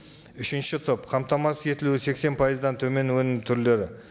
үшінші топ қамтамасыз етілуі сексен пайыздан төмен өнім түрлері